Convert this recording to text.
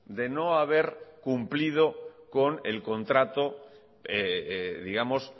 de no haber cumplido con el contrato digamos